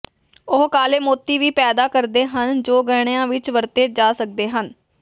ਉਹ ਕਾਲੇ ਮੋਤੀ ਵੀ ਪੈਦਾ ਕਰਦੇ ਹਨ ਜੋ ਗਹਿਣਿਆਂ ਵਿਚ ਵਰਤੇ ਜਾ ਸਕਦੇ ਹਨ